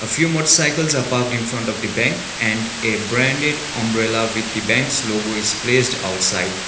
few motor cycles are parked in front of the bank and a branded umbrella with the bank's logo is placed outside.